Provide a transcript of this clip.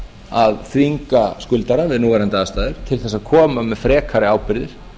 að þvinga skuldara við núverandi aðstæður til þess að koma með frekari ábyrgðir